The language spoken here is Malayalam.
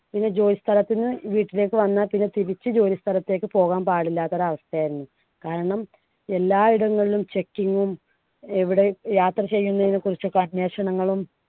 പിന്നെ ജോലിസ്ഥലത്തു നിന്ന് വീട്ടിലേക്ക് വന്നാ പിന്നെ തിരിച്ചു ജോലി സ്ഥലത്തേക്ക് പോകാൻ പാടില്ലാത്ത ഒരവസ്ഥയായിരുന്നു. കാരണം എല്ലായിടങ്ങളിലും checking ഉം എവിടെ യാത്ര ചെയ്യുന്നതിനെക്കുറിച്ച് ഒക്കെ അന്വേഷണങ്ങളും